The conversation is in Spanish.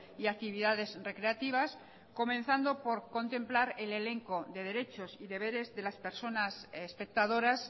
y actividades recreativas comenzando por contemplar el elenco de derechos y deberes de las personas espectadoras